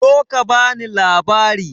Zo ka bani labari!